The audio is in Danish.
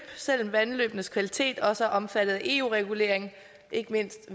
selv om vandløbenes kvalitet også er omfattet af eu regulering ikke mindst